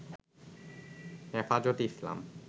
হেফাজতে ইসলাম